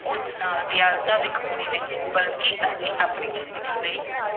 ਉਸ ਨਾਲ ਦਿਆਲਤਾ ਦਿਖਾਉਣੀ ਨਹੀਂ, ਬਲਕਿ ਅਸੀਂ ਆਪਣੀ ਜ਼ਿੰਦਗੀ ਲਈ